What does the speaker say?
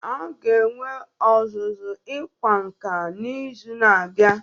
A ga-enwe ọzụzụ ịkwa nka n'izu na-abịa